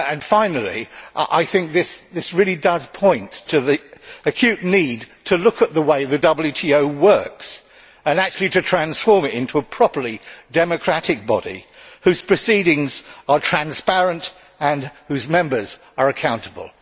Finally, I think this really does point to the acute need to look at how the WTO works and to transform it into a properly democratic body whose proceedings are transparent and whose members are accountable.